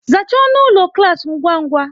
Zachaa ọnụ ụlọ klas ngwa ngwa!